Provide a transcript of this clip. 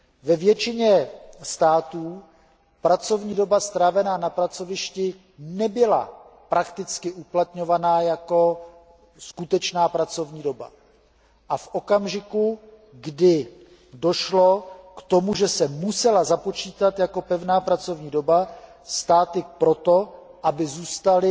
Ve většině států pracovní doba strávená na pracovišti nebyla prakticky uplatňována jako skutečná pracovní doba a v okamžiku, kdy došlo k tomu, že se musela započítat jako pevná pracovní doba, státy pro to, aby zůstaly